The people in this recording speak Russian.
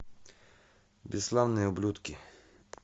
бесславные ублюдки